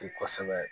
Kosɛbɛ